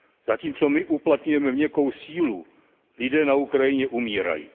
Zatímco my uplatňujeme měkkou sílu, lidé na Ukrajině umírají.